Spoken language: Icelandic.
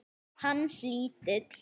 Hans lítill.